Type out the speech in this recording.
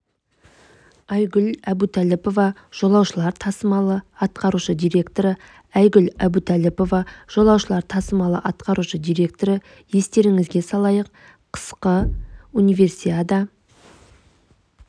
айгүл әбутәліпова жолаушылар тасымалы атқарушы директоры айгүл әбутәліпова жолаушылар тасымалы атқарушы директоры естеріңізге салайық қысқы универсиада